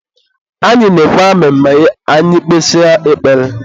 Anyị na-ekwe amen ma anyị kpesịa ekpere.